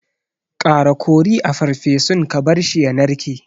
Ƙara kori a farfesun ka barshi ya narke.